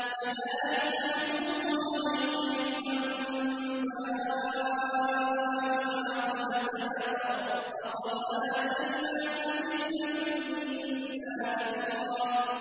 كَذَٰلِكَ نَقُصُّ عَلَيْكَ مِنْ أَنبَاءِ مَا قَدْ سَبَقَ ۚ وَقَدْ آتَيْنَاكَ مِن لَّدُنَّا ذِكْرًا